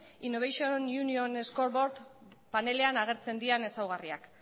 innovation union scoreboard panelean agertzen diren ezaugarriak